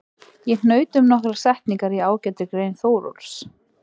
Ég hnaut um nokkrar setningar í ágætri grein Þórólfs.